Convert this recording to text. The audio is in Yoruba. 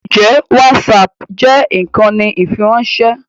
Ǹjẹ́ whatsapp jẹ́ ìkànnì ìfiránṣẹ́?